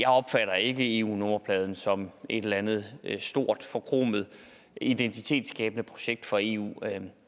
opfatter ikke eu nummerpladen som et eller andet stort forkromet identitetsskabende projekt for eu